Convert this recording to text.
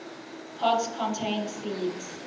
pods contain seeds